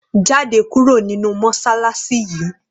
Jáde kúrò nínú mọṣáláṣí yìí!